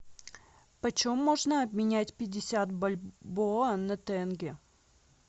почем можно обменять пятьдесят бальбоа на тенге